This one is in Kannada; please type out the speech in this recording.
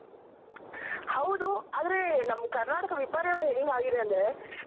ಹೌದು ಆದ್ರೆ ನಮ್ ಕರ್ನಾಟಕ ವಿಪರ್ಯಾಸ ಹೆಂಗ್ ಆಗಿದೆ ಅಂದ್ರೆ